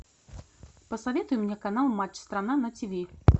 посоветуй мне канал матч страна на тиви